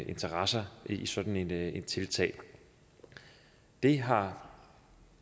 interesser i sådan et tiltag det har